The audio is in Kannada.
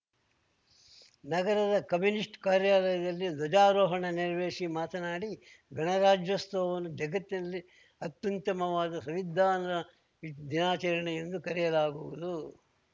ನಗರದ ಕಮ್ಯುನಿಸ್ಟ್ ಕಾರ್ಯಾಲಯದಲ್ಲಿ ಧ್ವಜಾರೋಹಣ ನೆರವೇರಿಸಿ ಮಾತನಾಡಿ ಗಣರಾಜ್ಯೋತ್ಸವವನ್ನು ಜಗತ್ತಿನಲ್ಲಿ ಅತ್ಯುತ್ತಮವಾದ ಸಂವಿಧಾನ ದಿನಾಚರಣೆ ಎಂದು ಕರೆಯಲಾಗುವುದು